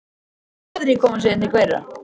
Hvaða aðrir koma síðan til greina?